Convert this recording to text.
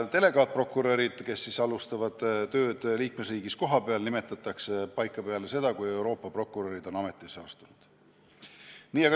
Delegaatprokurörid, kes alustavad tööd liikmesriigis kohapeal, nimetatakse paika peale seda, kui Euroopa prokurörid on ametisse astunud.